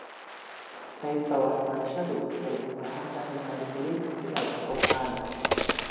Qaybta waxbarashadu waxay u baahan tahay maalgelin si ay u kobcaan.